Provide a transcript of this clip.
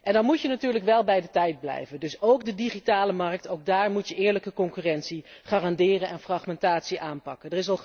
En dan moet je natuurlijk wel bij de tijd blijven, dus ook op de digitale markt moet je eerlijke concurrentie garanderen en fragmentatie aanpakken.